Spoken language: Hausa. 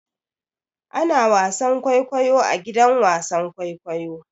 Ana wasan kwaikwayo a gidan wasan kwaikwayo.